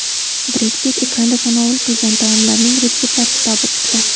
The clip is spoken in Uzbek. Bred Pitt ekranda tanovul qilgan taomlarning retseptlar kitobi chiqdi.